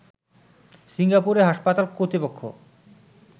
সিঙ্গাপুরে হাসপাতাল কর্তৃপক্ষ